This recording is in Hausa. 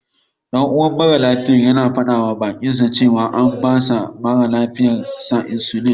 Ɗan'uwan mara lafiyar yana faɗawa baƙinsa cewa an bawa mara lafiyar sa insulin.